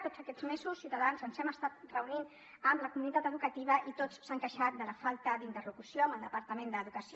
tots aquests mesos ciutadans ens hem estat reunint amb la comunitat educativa i tots s’han queixat de la falta d’interlocució amb el departament d’educació